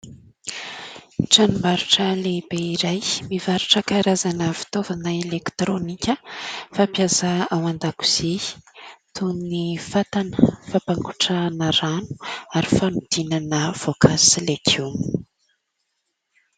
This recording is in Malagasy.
Tranombarotra lehibe iray mivarotra karazana fitaovana elektrônika fampiasa ao an-dakozia toy ny fatana, fampangotrahana rano ary fanodinana voankazo sy legioma.